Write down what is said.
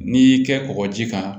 N'i y'i kɛ kɔkɔji kan